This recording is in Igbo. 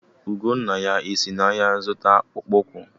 Ugonnaya e si n’ahịa zụta akpụkpọ ụkwụ?